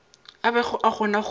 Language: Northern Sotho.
a bego a kgona go